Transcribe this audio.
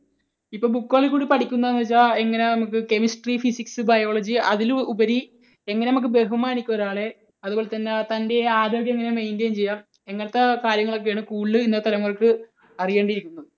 ഇപ്പോൾ book കളിൽക്കൂടി പഠിക്കുന്നത് എന്ന് വെച്ചാൽ എങ്ങനെയാ നമുക്ക് Chemistry, Physics, Biology അതിലുപരി എങ്ങനെ നമുക്ക് ബഹുമാനിക്കാം ഒരാളെ, അതുപോലെതന്നെ തൻറെ ആരോഗ്യം എങ്ങനെ maintain ചെയ്യാം, ഇങ്ങനത്തെ കാര്യങ്ങളൊക്കെ ആണ് കൂടുതൽ ഇന്നത്തെ തലമുറയ്ക്ക് അറിയേണ്ടി ഇരിക്കുന്നത്.